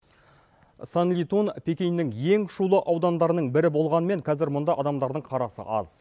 санлитон пекиннің ең шулы аудандарының бірі болғанмен қазір мұнда адамдардың қарасы аз